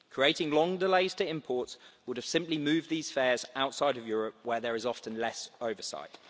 Creating long delays to imports would have simply moved these fairs outside Europe, where there is often less oversight.